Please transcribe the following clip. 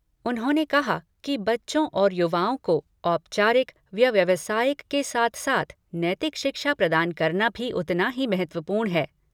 उन्होंने कहा कि बच्चों और युवाओं को औपचारिक व व्यावसायिक के साथ साथ नैतिक शिक्षा प्रदान करना भी उतना ही महत्वपूर्ण है।